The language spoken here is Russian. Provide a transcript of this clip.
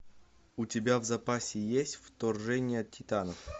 у тебя в запасе есть вторжение титанов